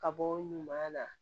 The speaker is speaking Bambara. Ka bɔ ɲuman na